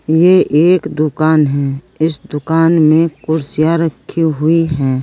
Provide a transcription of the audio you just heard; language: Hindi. ये एक दुकान है इस दुकान में कुर्सियां रखी हुई है।